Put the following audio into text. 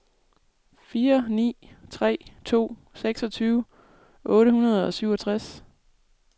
fire ni tre to seksogtyve otte hundrede og syvogtres